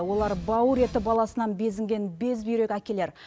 олар бауыр еті баласынан безінген безбүйрек әкелер